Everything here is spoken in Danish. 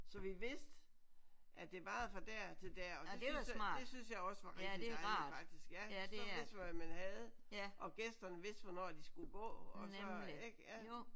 Så vi vidste at det varede fra der til der og det synes det synes jeg også var rigtig dejligt faktisk ja så vidste man hvad man havde og gæsterne vidste hvornår de skulle gå og så ik ja